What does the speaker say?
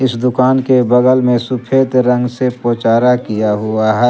इस दुकान के बगल में सुफेद रंग से पोचारा किया हुआ है।